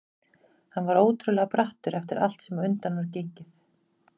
Hann var ótrúlega brattur eftir allt sem á undan var gengið.